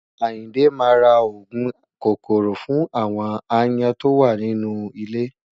Àyìndé máa ra òògùn kòkòrò fún àwon aáyán tó wà nínú ilé.